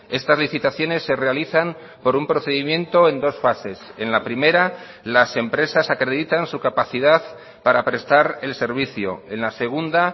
estas licitaciones se realizan por un procedimiento en dos fases en la primera las empresas acreditan su capacidad para prestar el servicio en la segunda